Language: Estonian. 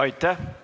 Aitäh!